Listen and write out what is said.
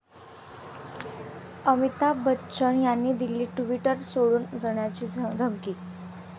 अमिताभ बच्चन यांनी दिली ट्विटर सोडून जाण्याची धमकी!